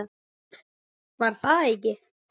Var það ekki?